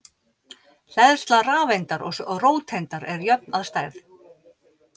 Hleðsla rafeindar og róteindar er jöfn að stærð.